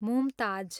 Mumtaz